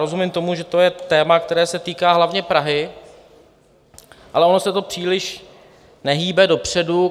Rozumím tomu, že to je téma, které se týká hlavně Prahy, ale ono se to příliš nehýbe dopředu.